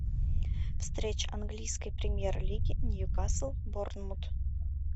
встреча английской премьер лиги ньюкасл борнмут